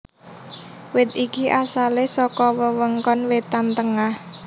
Wit iki asalé saka wewengkon wétan tengah